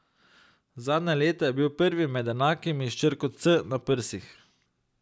Zadnja leta je bil prvi med enakimi s črko C na prsih.